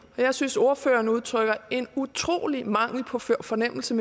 jeg synes at ordføreren udtrykker en utrolig mangel på fornemmelse